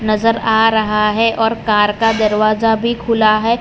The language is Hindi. नज़र आ रहा है और कार का दरवाजा भी खुला हुआ है।